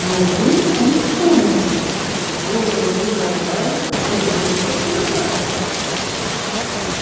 но вдруг он вспомнил что-то бросил дикобраза и вернулся к куропатке